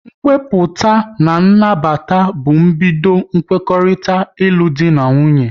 Nkwupụta na nnabata bụ mbido kwekorita ilu dị na nwunye